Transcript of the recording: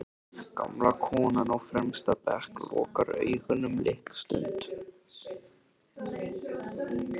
Gamla konan á fremsta bekk lokar augunum litla stund.